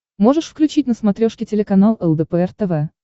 можешь включить на смотрешке телеканал лдпр тв